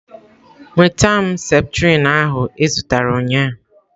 Nweta m septrin ahụ ị zụtara ụnyaahụ.